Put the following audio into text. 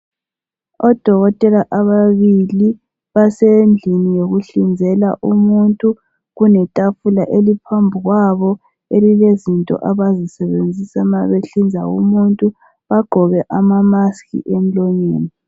odokotela ababili basendlini yokuhlinzela umuntu kuletafula eliphambili kwabo elilezinto abazisebenzisa uma behlinza umuntu bagqoke ama mask emulonyeni